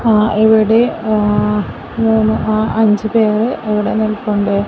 ആ ഇവടെ മൂന്ന് ആ അഞ്ച് പേര് ഇവടെ നിൽപ്പുണ്ട്.